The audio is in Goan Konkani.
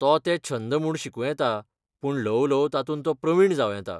तो तें छंद म्हूण शिकूं येता, पूण ल्हव ल्हव तातूंत तो प्रवीण जांव येता.